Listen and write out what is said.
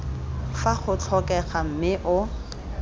fa go tlhokega mme o